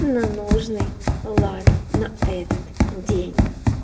на нужный лад на этот день